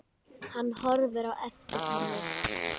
Hann horfir á eftir henni.